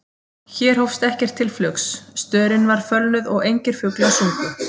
Hér hófst ekkert til flugs, störin var fölnuð og engir fuglar sungu.